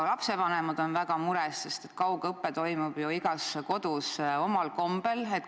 Ka lapsevanemad on väga mures, sest kaugõpe toimub ju igas kodus omal kombel.